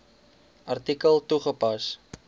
artikel toegepas